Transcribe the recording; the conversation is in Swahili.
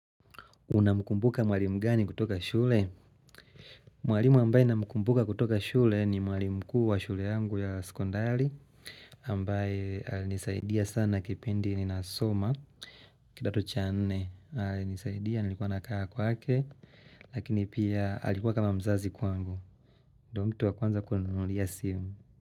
Unamkumbuka mwalimu mgani kutoka shule? Mwlimui ambae namukumbuka kutoka shule ni mwalimu mkuu wa shule yangu ya sekondali ambae alinisaidia sana kipindi ni nasoma kidato cha nne. Nisaidia nilikuwa nakaa kwake. Lakini pia alikuwa kama mzazi kwangu. Ndoo mtu wa kwanza kuninunulia simu.